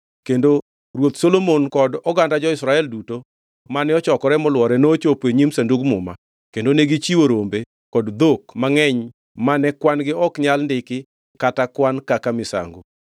kendo Ruoth Solomon kod oganda jo-Israel duto mane ochokore molwore nochopo e nyim Sandug Muma; kendo negichiwo rombe kod dhok mangʼeny mane kwan-gi ok nyal ndiki kata kwan kaka misango.